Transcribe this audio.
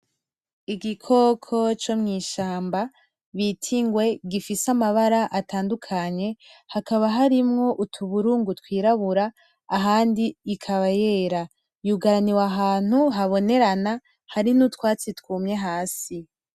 Igikoko co mw'ishamba bita ingwe gifise amabara atandukanye hakaba harimwo utuburungu twirabura ahandi ikaba yera, yugaraniwe ahantu habonerana hari n'utwatsi twumye hasi.